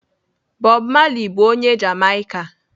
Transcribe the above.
Bob Marley bụ onye Jamaika.